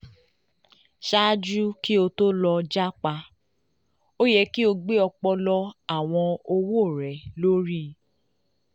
ṣaaju ki o to lọ japa o yẹ ki o gbe ọpọlọpọ awọn awọn owo rẹ lori